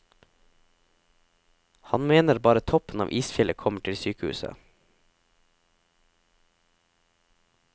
Han mener bare toppen av isfjellet kommer til sykehuset.